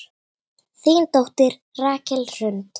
Þín dóttir, Rakel Hrund.